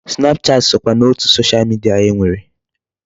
Snapchat sokwa n'otu Social media e nwere.